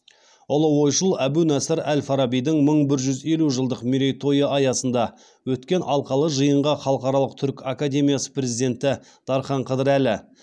ұлы ойшыл әбу насыр әл фарабидің мың бір жүз елу жылдық мерейтойы аясында өткен алқалы жиынға халықаралық түркі академиясы президенті дархан қыдырәлі